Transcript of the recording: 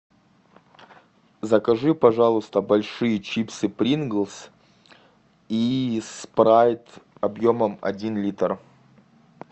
закажи пожалуйста большие чипсы принглс и спрайт объемом один литр